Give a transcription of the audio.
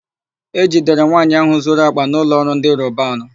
E jidere nwaanyị áhụ̀ zuru àkpà na ụlọọrụ ndị Robanu.